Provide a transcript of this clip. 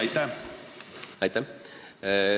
Aitäh!